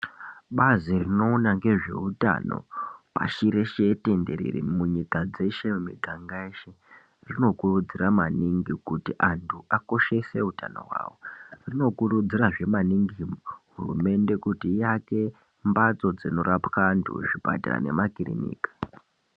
Bazi rinoona ngezveutano pashi reshe tenderere, munyika dzeshe mumuganga yeshe , rinokurudzira maningi kuti anthu akoshese utano hwawo. Rinokurudzirazve maningi kuti hurumende iake mbatso dzinorapwa antu, zvipatara nemakirinika.